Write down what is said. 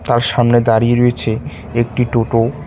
তার সামনে দাঁড়িয়ে রয়েছে একটি টোটো ।